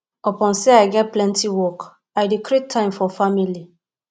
upon sey i get plenty work i dey create time for family